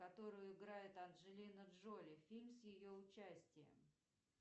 которую играет анджелина джоли фильм с ее участием